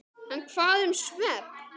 En hvað um svefn?